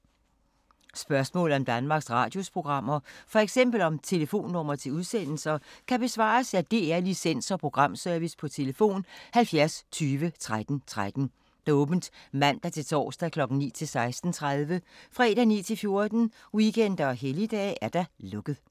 Spørgsmål om Danmarks Radios programmer, f.eks. om telefonnumre til udsendelser, kan besvares af DR Licens- og Programservice: tlf. 70 20 13 13, åbent mandag-torsdag 9.00-16.30, fredag 9.00-14.00, weekender og helligdage: lukket.